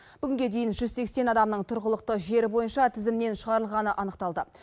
бүгінге дейін жүз сексен адамның тұрғылықты жері бойынша тізімнен шығарылғаны анықталды